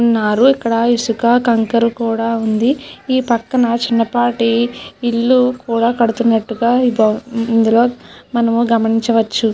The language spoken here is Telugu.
ఉన్నారు ఇక్కడ ఇసుక కంకర కూడా ఉంది ఈ పక్కన చిన్నపాటి ఇల్లు కూడా కడుతున్నట్టుగా ఇందులో మనము గమనించవచ్చు.